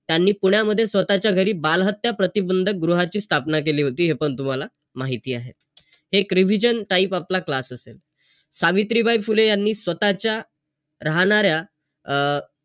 त्यांनी पुण्यामध्ये स्वतःच्या घरी बालहत्या प्रतिबंधक गृहाची स्थापना केली होती. हे पण तुम्हाला माहिती आहे. एक revision type आपला class असेल. सावित्रीबाई फुले यांनी स्वतःच्या राहणाऱ्या अं